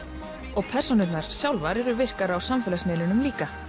og persónurnar sjálfar eru virkar á samfélagsmiðlunum líka